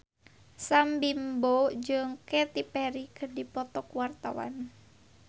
Sam Bimbo jeung Katy Perry keur dipoto ku wartawan